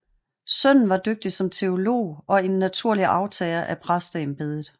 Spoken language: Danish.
Sønnen var dygtig som teolog og en naturlig arvtager af præsteembedet